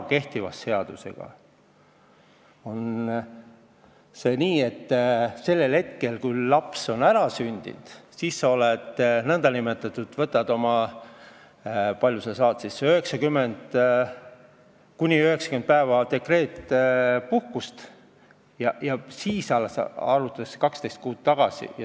Kehtiva seaduse järgi on nii, et sellel hetkel, kui laps on ära sündinud, võtad sa kuni 90 päeva dekreetpuhkust ja siis alles arvutatakse 12 kuud tagasi.